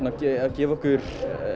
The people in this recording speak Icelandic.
gefa okkur